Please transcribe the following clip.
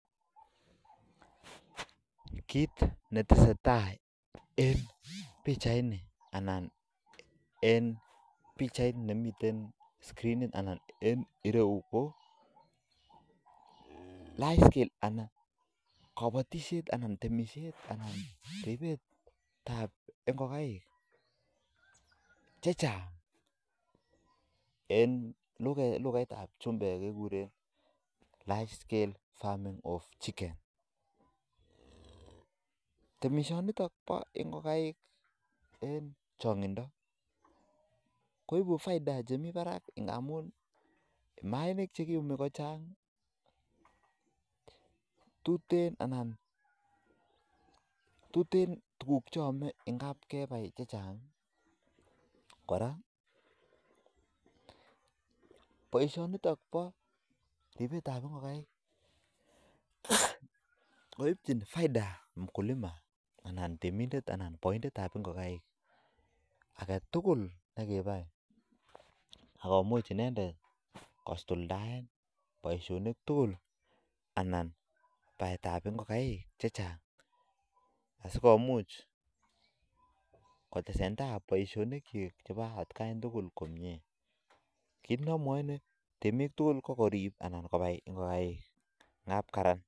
Kit netesetai En pichanini ko kabatishet anan ribet ab ngokaik chechang eng lukait ab chumbek kekure [large scale farming of chicken] Chu kofaida chemi barak amu mainik chekiumi kochang mising ako amitwokik ko tuten chekaam ako imuch kosuldae boisyonik chik tugul ako chitugul korib boisyoni bo ngokaik